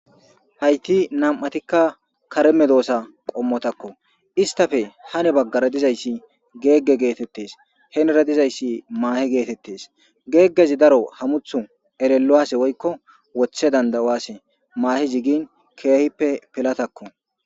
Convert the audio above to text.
hayti nam7atikka kare medoosa qommotakko istafe hane baggara dizayssi geegge geetettes henera dizayssi maahe geetettes geeggezi daro hamuthu erellowase woykko wothe danda7uwase maahezi gin keehippe pilatakko.